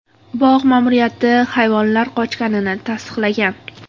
Bog‘ ma’muriyati hayvonlar qochganini tasdiqlagan.